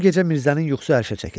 O gecə Mirzənin yuxusu ərşə çəkildi.